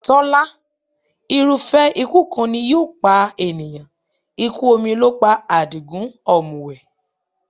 Tọ́lá, irúfẹ́ ikú kan ni yóò pa ènìyàn. Ikú omi ló pa Àdìgún ọ̀mùwẹ̀.